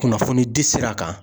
Kunnafoni di sira kan